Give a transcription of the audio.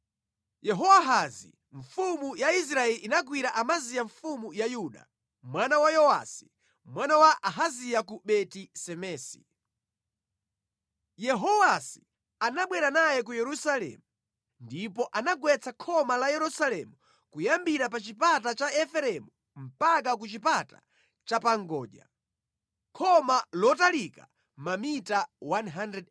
Yehowahazi mfumu ya Israeli inagwira Amaziya mfumu ya Yuda, mwana wa Yowasi, mwana wa Ahaziya ku Beti-Semesi. Yehowasi anabwera naye ku Yerusalemu ndipo anagwetsa khoma la Yerusalemu kuyambira pa Chipata cha Efereimu mpaka ku Chipata Chapangodya, khoma lotalika mamita 180.